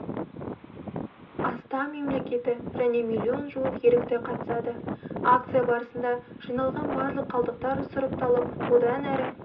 астам мемлекеті және миллион жуық ерікті қатысады акция барысында жиналған барлық қалдықтар сұрыпталып одан әрі